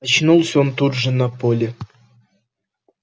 очнулся он тут же на поле